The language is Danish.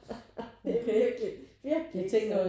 Det er virkelig virkelig ikke sådan